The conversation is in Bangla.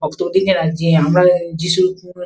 কত দিনের আছে যে আমরা যিশু ।